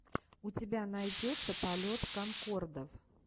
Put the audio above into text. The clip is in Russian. у тебя найдется полет конкордов